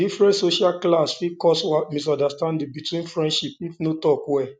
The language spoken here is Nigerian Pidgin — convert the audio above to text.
different social class fit cause misunderstanding between friends if no talk well